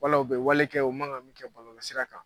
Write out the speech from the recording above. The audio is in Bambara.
Wala u bɛ wale kɛ u man kan min kɛ bɔlɔlɔsira kan.